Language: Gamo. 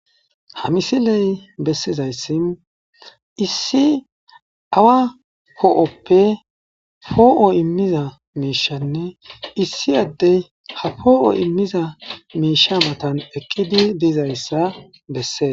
Ha misiley bessezayssi issi awa hoo7oppe hoo7o immiza miishanne issi addey ha poo7o immiza miisha matan eqqidi diizayssa bessees.